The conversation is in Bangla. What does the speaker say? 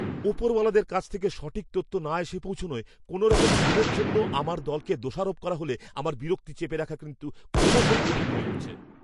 ওপরওয়ালাদের কাছ থেকে সঠিক তথ্য না এসে পৌঁছনোয় কোনওরকম ভুলের জন্য আমার দলকে দোষারোপ করা হলে আমার বিরক্তি চেপে রাখা কিন্তু ক্রমশই কঠিন হয়ে উঠছে।